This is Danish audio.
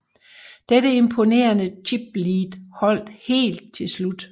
Dette imponerende chiplead holdt helt til slut